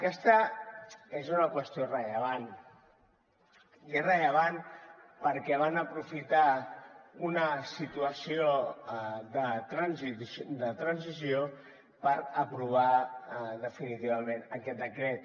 aquesta és una qüestió rellevant i és rellevant perquè van aprofitar una situació de transició per aprovar definitivament aquest decret